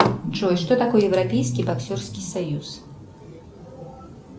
джой что такое европейский боксерский союз